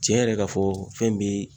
Tiɲɛ yɛrɛ ka fɔ fɛn be